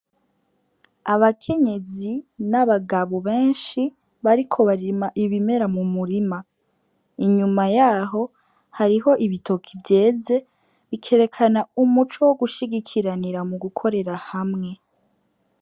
Abakenyezi n'abagabo benshi bariko barima ibimera m'umurima, inyuma yaho hariho ibitoke vyeze, bikerekana umuco wo gushigikiranira mu gukorera hamwe.